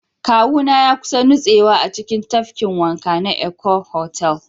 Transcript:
Kawuna ya kusa nutsewa a cikin tafkin wanka na Eko Hotel